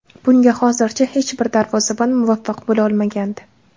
Bunga hozircha hech bir darvozabon muvaffaq bo‘la olmagandi.